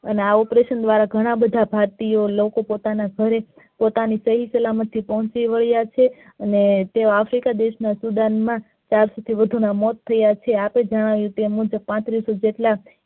અને આ operation દ્વારા ઘણા બધા ભારતીયો લોકો પોતાની ઘરે પોતાની સહી સલામતી પહોંચી વાળિયા છે અને તે africa દેશ ના student માં અત્યર સુધીમાં વધારે મોત થયા છે આપડે જણાવ્યુ તે મુજબ પાંત્રીસો જેટલા